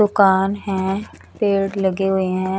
दुकान है पेड़ लगे हुए है।